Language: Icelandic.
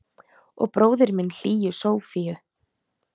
Og bróðir minn hlýju Sofíu.